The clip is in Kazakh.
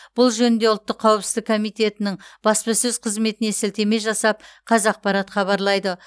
бұл жөнінде ұлттық қауіпсіздік комитетінің баспасөз қызметіне сілтеме жасап қазақпарат хабарлайды